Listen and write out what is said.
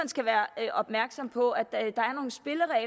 skal være opmærksom på at der